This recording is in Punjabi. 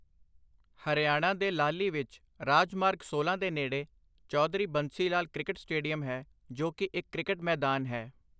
ਹਰਿਆਣਾ ਦੇ ਲਾਹਲੀ ਵਿੱਚ ਰਾਜ ਮਾਰਗ ਸੋਲਾਂ ਦੇ ਨੇੜੇ ਚੌਧਰੀ ਬੰਸੀ ਲਾਲ ਕ੍ਰਿਕਟ ਸਟੇਡੀਅਮ ਹੈ ਜੋ ਕੀ ਇੱਕ ਕ੍ਰਿਕਟ ਮੈਦਾਨ ਹੈ।